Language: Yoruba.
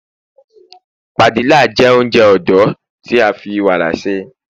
Padilla jé ounjẹ odò ti a fi warqa ṣe